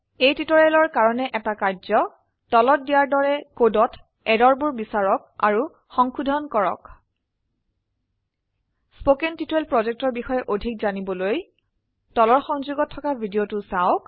এই টিউটৰীয়েলৰ কাৰনে এটা কাৰ্য্ তলত দিয়াৰ দৰে কদত এৰৰ বোৰ বিচাৰক আৰু সংশোধন কৰক spoken টিউটৰিয়েল projectৰ বিষয়ে অধিক জানিবলৈ তলৰ সংযোগত থকা ভিডিঅ চাওক